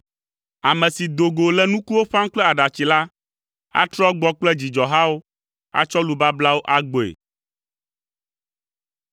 Ame si do go le nukuwo ƒãm kple aɖatsi la atrɔ agbɔ kple dzidzɔhawo, atsɔ lu bablawo agbɔe.